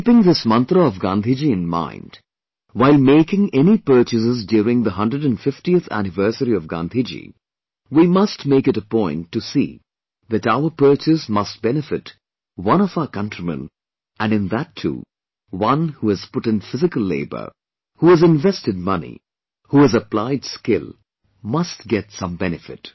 Keeping this mantra of Gandhiji in mind while making any purchases during the 150th Anniversary of Gandhiji, we must make it a point to see that our purchase must benefit one of our countrymen and in that too, one who has put in physical labour, who has invested money, who has applied skill must get some benefit